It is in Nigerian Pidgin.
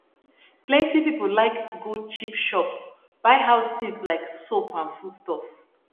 plenty people like go cheap shop buy house things like soap and food stuff